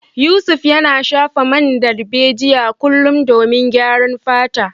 Yusuf yana shafa man darbejiya kullum domin gyaran fata.